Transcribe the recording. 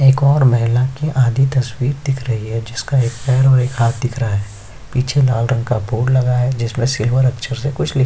एक ओर महिला की आधी तस्वीर दिख रही है जिसका एक पैर और हाथ दिख रहा है पीछे लाल रंग का बोर्ड लगा है जिसमें सिल्वर अक्षर से कुछ लिखा--